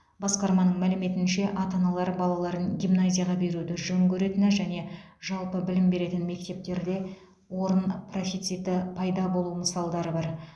басқарманың мәліметінше ата аналар балаларын гимназияға беруді жөн көретіні және жалпы білім беретін мектептерде орын профициті пайда болу мысалдар бар